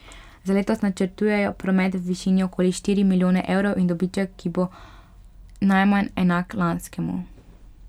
Za letos načrtujejo promet v višini okoli štiri milijone evrov in dobiček, ki bo najmanj enak lanskemu.